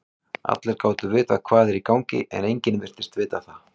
Allir gátu vitað hvað var í gangi, en enginn virtist vita það.